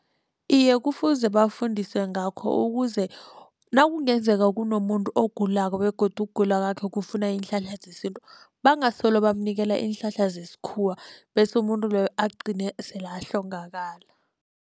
Iye, kufuze bafundiswe ngakho ukuze nakungenzeka kunomuntu ogulako begodu ukugula kwakhe kufuna iinhlahla zesintu bangasolo bamnikela iinhlahla zesikhuwa bese umuntu loyo agcine sele ahlongakale.